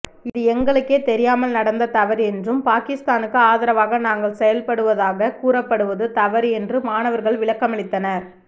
இது எங்களுக்கே தெரியாமல் நடந்த தவறு என்றும் பாகிஸ்தானுக்கு ஆதரவாக நாங்கள் செயல்படுவதாக கூறப்படுவது தவறு என்று மாணவர்கள் விளக்கமளித்தனர்